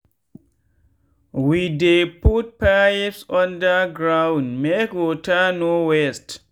we dey put pipes undergroundmake water no waste.